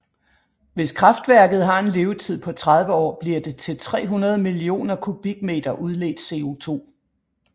Hvis kraftværket har en levetid på 30 år bliver det til 300 millioner kubikmeter udledt CO2